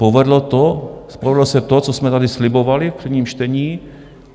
Povedlo se to, co jsme tady slibovali v prvním čtení.